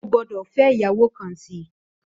Ó gbòdò fè iyàwó kán si